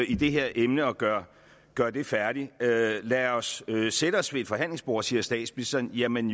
i det her emne og gøre gøre det færdigt lad os sætte os ved et forhandlingsbord siger statsministeren jamen